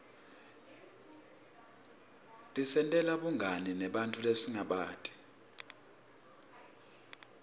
tisentela bungani nebanntfu lesingabati